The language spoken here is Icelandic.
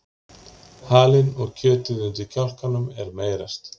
halinn og kjötið undir kjálkanum er meyrast